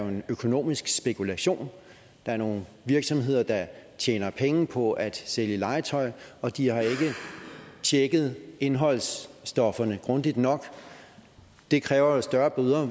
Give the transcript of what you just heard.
en økonomisk spekulation der er nogle virksomheder der tjener penge på at sælge legetøj og de har ikke tjekket indholdsstofferne grundigt nok det kræver jo større bøder og